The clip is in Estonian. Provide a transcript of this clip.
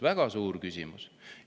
Väga suuri küsimusi!